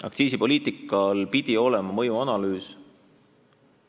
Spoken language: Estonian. Aktsiisipoliitikal pidi olema mõjuanalüüs.